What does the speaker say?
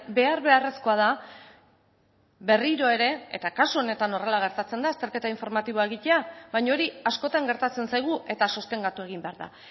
behar beharrezkoa da berriro ere eta kasu honetan horrela gertatzen da azterketa informatiboa egitea baina hori askotan gertatzen zaigu eta sostengatu egin behar da